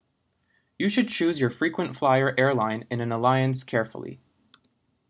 you should choose your frequent flyer airline in an alliance carefully